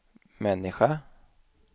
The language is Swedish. människa